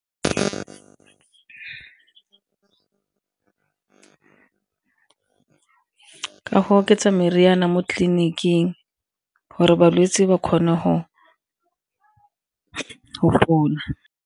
Ka go oketsa meriana mo tleliniking gore balwetse ba kgone go fola.